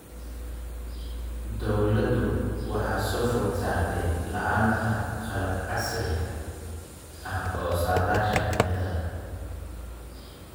Dawladdu waxa soo food saartay la�aanta qalab casri ah oo saadaasha cimilada.